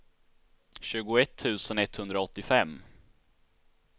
tjugoett tusen etthundraåttiofem